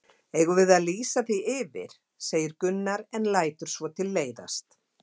Eigum við að lýsa því yfir? segir Gunnar en lætur svo tilleiðast.